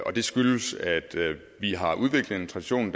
og det skyldes at vi har udviklet en tradition